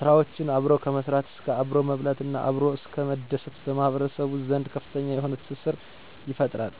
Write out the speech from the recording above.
ስራዎችን አብሮ ከመስራት እስከ አብሮ መብላት እናም አብሮ እስከ መደሰት በማህበረሰቡ ዘንድ ከፍተኛ የሆነ ትስስርን ይፈጥራል።